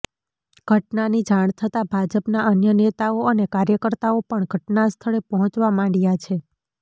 ઘટનાની જાણ થતા ભાજપના અન્ય નેતાઓ અને કાર્યકર્તાઓ પણ ઘટનાસ્થળે પહોંચવા માંડ્યા છે